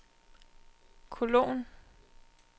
kolon